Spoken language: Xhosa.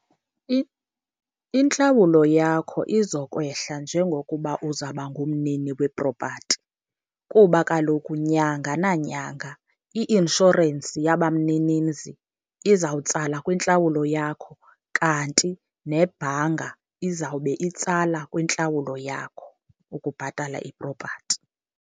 Intlawulo yakho izokwehla njengokuba uzawuba ngumnini wepropati, kuba kaloku nyanga nanyanga i-inshorensi yabamninimzi izawutsala kwintlawulo yakho, kanti nebhanka izawube itsala kwintlawulo yakho ukubhatala ipropati.